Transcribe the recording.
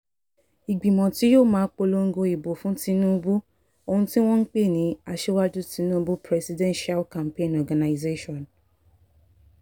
ìgbìmọ̀ tí yóò máa polongo ìbò fún tinubu ọ̀hún ni wọ́n pè ní aṣíwájú tinubu presidential campaign organization